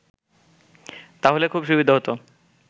তাহলে খুব সুবিধা হত